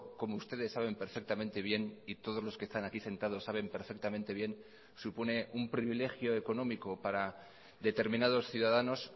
como ustedes saben perfectamente bien y todos los que están aquí sentados saben perfectamente bien supone un privilegio económico para determinados ciudadanos